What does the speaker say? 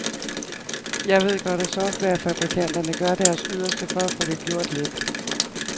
Jeg ved godt, at softwarefabrikanterne gør deres yderste for at få det gjort let.